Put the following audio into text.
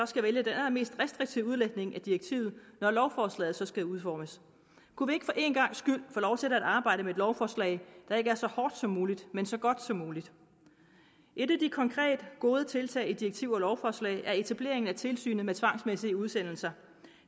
skal vælge den allermest restriktive udlægning af direktivet når lovforslaget så skal udformes kunne vi ikke for en gangs skyld få lov til at arbejde med et lovforslag der ikke er så hårdt som muligt men så godt som muligt et af de konkret gode tiltag i direktiv og lovforslag er etablering af tilsynet med tvangsmæssige udsendelser